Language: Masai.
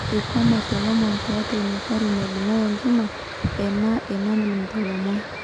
Eikwamate lomon tiatwa inagari naibunga enkima, ena enalimu lomon.